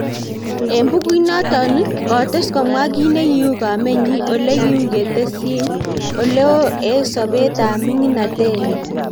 eng bukuit natok ,kotes komwa kinegiu komet nyin ole kiu kitesyin oloeo eng sopet ap ming�inatet nyin